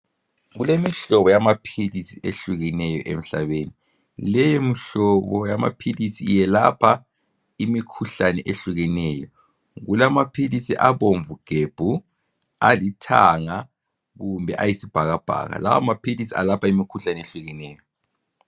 Kulemihlobo yamapills ehlukeneyo emhlabeni leyo mihlobo yamapills yelapha imikhuhlana ehlukeneyo kulamapills abamvu gebhu alithanga kumbe ayibhakabhaka lawamapills ayelapha imikhuhlane eyehlukeneyo